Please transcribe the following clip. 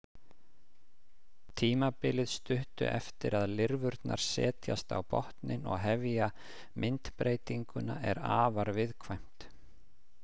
Tímabilið stuttu eftir að lirfurnar setjast á botninn og hefja myndbreytingu er afar viðkvæmt.